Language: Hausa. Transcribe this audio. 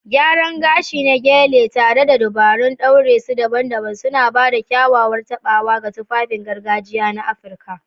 Gyaran gashi na Gele, tare da dabarun ɗaure su daban-daban, suna ba da kyakkyawar taɓawa ga tufafin gargajiya na Afirka.